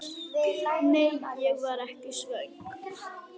Nei, ég var ekki svöng.